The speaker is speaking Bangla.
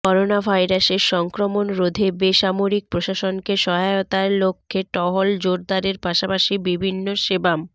করোনাভাইরাসের সংক্রমণ রোধে বেসামরিক প্রশাসনকে সহায়তার লক্ষ্যে টহল জোরদারের পাশাপাশি বিভিন্ন সেবাম